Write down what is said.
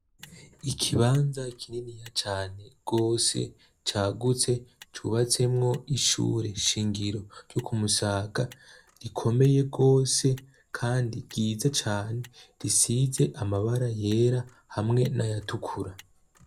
Ikibanza kinini ya cane rwose cagutse cubatsemwo ishure shingiro ryo kumusaga rikomeye rwose, kandi ryiza cane risize amabara yera hamwe n'ayatukura.